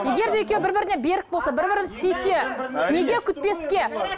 егер де екеуі бір біріне берік болса бір бірін сүйсе неге күтпеске